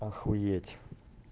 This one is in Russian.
охуеть